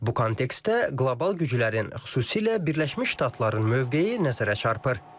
Bu kontekstdə qlobal güclərin, xüsusilə Birləşmiş Ştatların mövqeyi nəzərə çarpır.